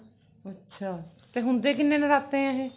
ਅੱਛਾ ਤੇ ਹੁੰਦੇ ਕਿੰਨੇ ਨਰਾਤੇ ਨੇ ਇਹ